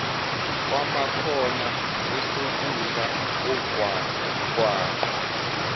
kwamakhona esokudla omgwaqo